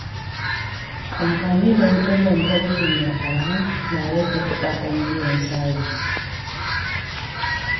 Amfani da wutar lantarki mai arha na rage kuɗaɗen biyan sabis.